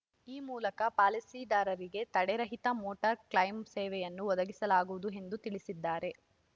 ಈ ಮೂಲಕ ಪಾಲಿಸಿದಾರರಿಗೆ ತಡೆರಹಿತ ಮೋಟಾರ್ ಕ್ಲೈಮ್ ಸೇವೆಯನ್ನು ಒದಗಿಸಲಾಗುವುದು ಎಂದು ತಿಳಿಸಿದ್ದಾರೆ